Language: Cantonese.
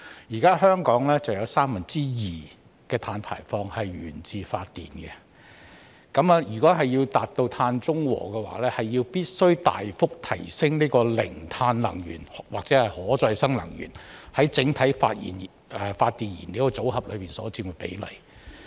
現時，香港有三分之二的碳排放源自發電，如果要達至碳中和，必須大幅提升零碳能源或可再生能源在整體發電燃料組合所佔的比例。